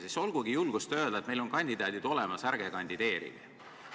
Siis olgugi julgust öelda, et meil on kandidaadid olemas ja teised ärgu kandideerigu!